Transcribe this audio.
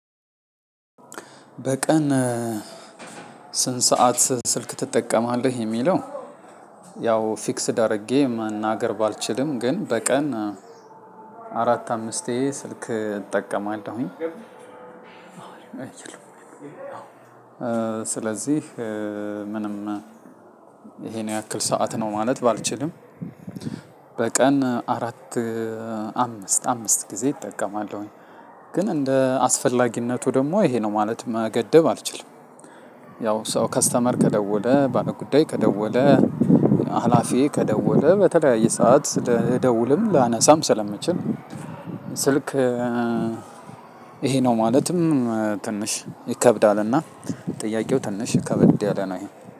በቀን ስንት ሰዓት ስልክ ትጠቀማለህ የምለው ያው ፍክስድ አርጌ መናገር ባልችልም ግን በቀን አረት አምስቴ ስልክ እጠቀማለሁኝ። ስለዚህ ምንም ይሄን ያክል ሰዓት ነው ማለት ባልችልም በቀን አራት አምስት አምስት ጊዜ እጠቀማለሁኝ። ግን እንደ አስፈላጊነቱ ደግሞ ይሄ ነው ማለት መገደብ አልችልም ያው ሰው ከስተመር ከደወለ ባለጉዳይ ከደወለ አላፊ ከደወለ በተለያየ ሰዓት ለደውልም ላነሳም ስለምችል ስልክ ይሄ ነው ማለትም ትንሽ ይከብዳልና ጥያቄው ትንሽ ከበድ ያለ ነው ይሄ